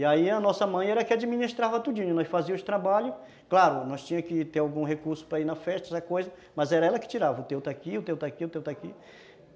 E aí a nossa mãe era que administrava tudinho, nós fazíamos os trabalhos, claro, nós tinha que ter algum recurso para ir na festa, mas era ela que tirava, o teu está aqui, o teu está aqui, o teu está aqui.